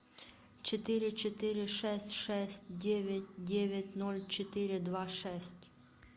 четыре четыре шесть шесть девять девять ноль четыре два шесть